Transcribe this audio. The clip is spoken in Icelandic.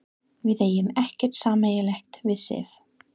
Við eigum ekkert sameiginlegt við Sif.